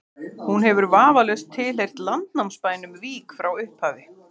hún hefur vafalaust tilheyrt landnámsbænum vík frá upphafi